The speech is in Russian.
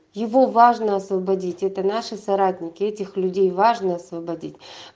его важно освободить это наше соратники этих людей важно освободить